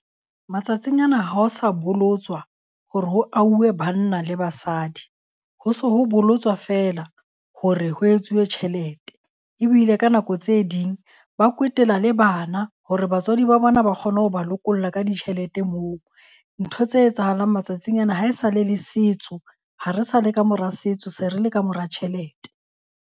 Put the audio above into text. Matsatsing ana, ha ho sa bolotswa hore ho auhwe banna le basadi, ho se ho bolotswa feela hore ho etsuwe tjhelete. Ebile ka nako tse ding ba kwetela le bana hore batswadi ba bona ba kgone ho ba lokolla ka ditjhelete moo. Ntho tse etsahalang matsatsing ana ha e sa le le setso, ha re sa le ka mora setso se re le kamora tjhelete.